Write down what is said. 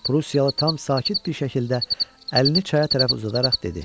Prussiyalı tam sakit bir şəkildə əlini çaya tərəf uzadaraq dedi: